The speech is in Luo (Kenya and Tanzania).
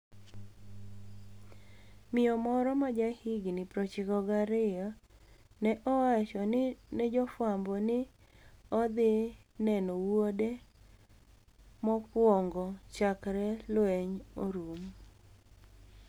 Miyo moro ma jahiginii 92 ni e owacho ni e jofwambo nii ni e odhi ni eno wuode mokwonigo chakre lweniy orum.